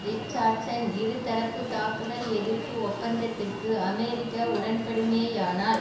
Richardson இருதரப்பு தாக்குதல் எதிர்ப்பு ஒப்பந்தத்திற்கு அமெரிக்கா உடன்படுமே ஆனால்